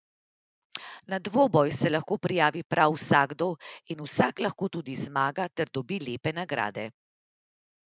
Na dvoboj se lahko prijavi prav vsakdo in vsak lahko tudi zmaga ter dobi lepe nagrade.